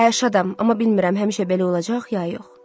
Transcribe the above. Hə, şadam, amma bilmirəm həmişə belə olacaq ya yox.